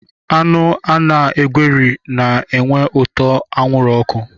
Anụ ana-egweri na-enwe ụtọ anwụrụ oku.